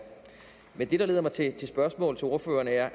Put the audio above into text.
men det der leder mig til spørgsmål til ordføreren er